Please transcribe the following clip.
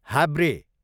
हाब्रे